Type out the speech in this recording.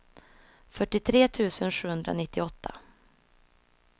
fyrtiotre tusen sjuhundranittioåtta